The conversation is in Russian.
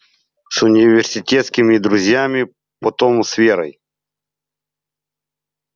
с университетскими друзьями потом с верой